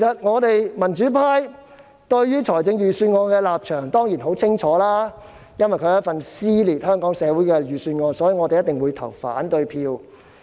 我們民主派對預算案的立場當然十分清晰，因為它是一份撕裂香港社會的預算案，所以我們一定會投反對票。